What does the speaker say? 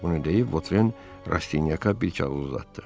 Bunu deyib Votren Rastinyaka bir kağız uzatdı.